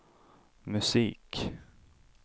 musik